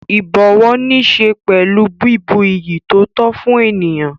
Ìbọ̀wọ̀ níṣe pẹ̀lú bíbu iyì tó tó fún ènìyàn.